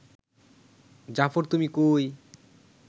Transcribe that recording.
জাফর তুমি কই